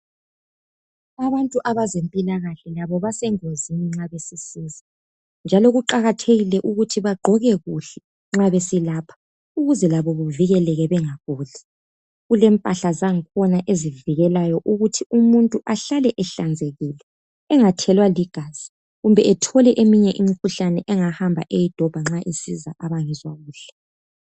Abantu abezempilakahle labo basengozini nxa besemsebenzini njalo kuqakathekile ukuthi bagqoke kuhle nxa beselapha ukuze labo bevikeleke bengaguli. Kulempahla zangikhona ezivikelayo ukuthi umuntu ehlale ehlanzekile engathelwa ligazi kumbe ethole eminye imikhuhlane angahamba eyidobha nxa esiza abangezwa kuhle.